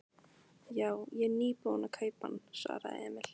Já, ég er nýbúinn að kaupa hann, svaraði Emil.